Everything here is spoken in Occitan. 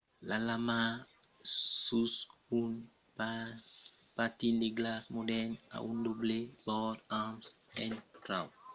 la lama sus un patin de glaç modèrn a un doble bòrd amb un trauc concau entre eles. totes dos bòrds permeton una presa melhora sul glaç e mai quand es inclinada